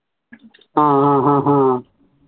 ആഹ് ഹ ഹഹ